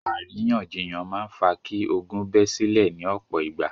Àríyànjiyàn máa ń fa kí ogún bẹ́ sílẹ̀ ní ọ̀pọ̀ ìgbà.